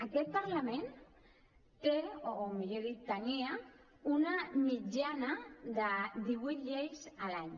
aquest parlament té o millor dit tenia una mitjana de divuit lleis a l’any